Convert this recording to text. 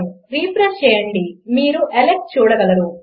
refresh చేయండి మీరు Álex చూడగలరు